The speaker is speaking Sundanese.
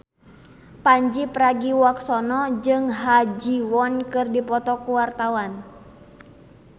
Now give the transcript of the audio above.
Pandji Pragiwaksono jeung Ha Ji Won keur dipoto ku wartawan